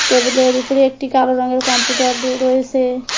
টেবিলের উপরে একটি কালো রঙের কম্পিউটার দু রয়েসে।